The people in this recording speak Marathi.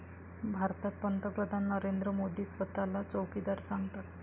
भारतात पंतप्रधान नरेंद्र मोदी स्वतःला चौकीदार सांगतात.